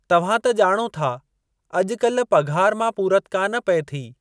तव्हां त ॼाणो था अज॒कल्ह पघार मां पूरति कान पेई थिए।